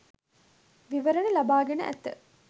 විවරණ ලබාගෙන ඇත.